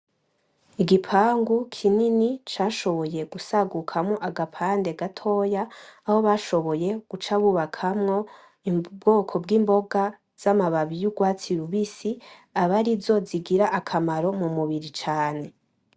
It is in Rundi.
Igipangu kinini cashoboye gusagukamwo agapande gatoya aho bashoboye guca bubakamwo ubwoko bw'imboga za ma babi z'urwatsi rubisi aba arizo zigira akamaro m'umubiri cane.